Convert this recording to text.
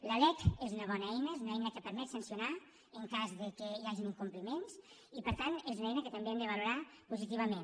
la lec és una bona eina és una eina que permet sancionar en cas que hi hagin incompliments i per tant és una eina que també hem de valorar positivament